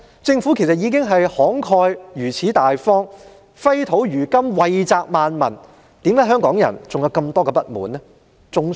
政府如此慷慨大方，揮金如土，惠澤萬民，為何香港人仍有這麼多不滿？